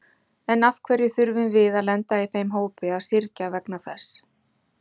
En af hverju þurfum við að lenda í þeim hópi að syrgja vegna þess?